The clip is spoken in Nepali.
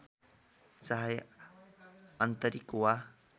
चाहे आन्तरिक वा